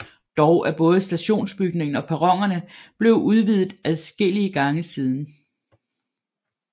Dog er både stationsbygningen og perronerne blevet udvidet adskillige gange siden